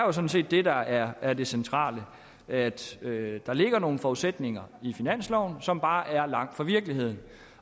er sådan set det der er er det centrale altså at der ligger nogle forudsætninger i finansloven som bare er langt fra virkeligheden